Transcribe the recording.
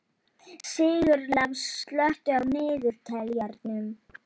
Sigurlás, slökktu á niðurteljaranum.